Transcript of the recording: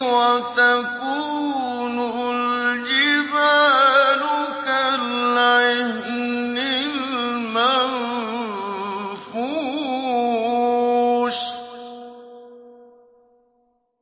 وَتَكُونُ الْجِبَالُ كَالْعِهْنِ الْمَنفُوشِ